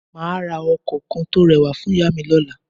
Mà á ra ọkọ̀ kan tó rẹwà fún ìyá à mi lọ́la